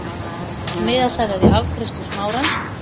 Miðasala er í afgreiðslu Smárans.